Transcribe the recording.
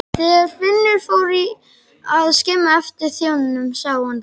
Þegar Finnur fór að skima eftir þjóninum sá hann að